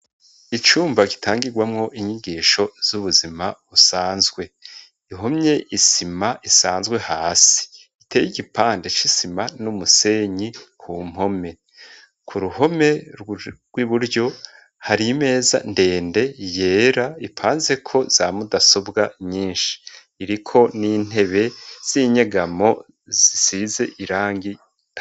Icumba gitangirwamwo inyigisho z'ubuzima usanzwe ihomye isima isanzwe hasi iteye igipande c'isima n'umusenyi ku mpome ku ruhome rw'i buryo hari imeza ndende yera ipanzeko za mudasobwa nyinshi iriko nintebe z'inyegamo zisize irangi.